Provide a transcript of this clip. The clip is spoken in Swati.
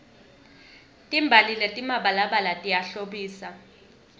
timbali letimabalabala tiyahlobisa